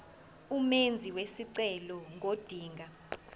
umenzi wesicelo ngodinga